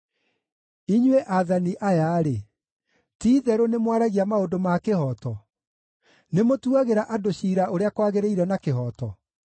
Inyuĩ aathani aya-rĩ, ti-itherũ nĩmwaragia maũndũ ma kĩhooto? Nĩmũtuagĩra andũ ciira ũrĩa kwagĩrĩire na kĩhooto?